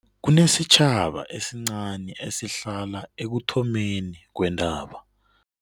Kunesitjhaba esincani esihlala ekuthomeni kweentaba.